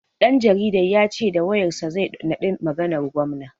Ɗan jaridan ya ce da wayar sa zai naɗi maganar gwamna.